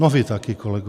No vy taky, kolego...